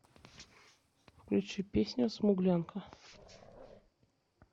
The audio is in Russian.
включи песню смуглянка